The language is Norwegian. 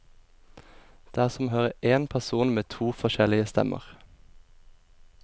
Det er som å høre én person med to forskjellige stemmer.